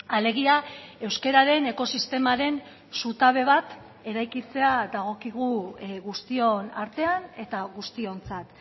alegia euskararen ekosistemaren zutabe bat eraikitzea dagokigu guztion artean eta guztiontzat